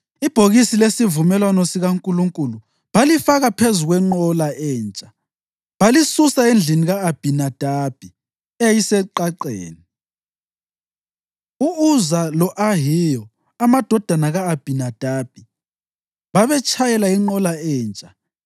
Ibhokisi lesivumelwano sikaNkulunkulu balifaka phezu kwenqola entsha balisusa endlini ka-Abhinadabi eyayiseqaqeni. U-Uza lo-Ahiyo amadodana ka-Abhinadabi, babetshayela inqola entsha